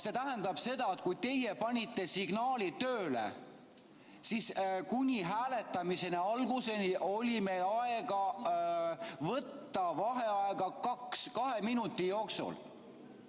See tähendab seda, et kui teie panite signaali tööle, siis kuni hääletamise alguseni oli meil aega võtta vaheaega kahe minuti jooksul.